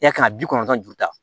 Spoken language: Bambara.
I ya kan ka bi kɔnɔntɔn ju ta